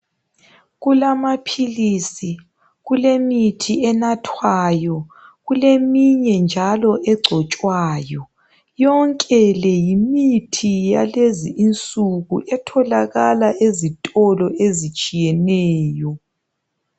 Kulamaphilisi, kulemithi enathwayo kuleminye njalo egcotshwayo, yonke le yimithi yalezinsuku etholakala ezitolo ezitshiyeneyo.